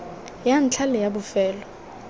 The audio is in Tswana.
ya ntlha le ya bofelo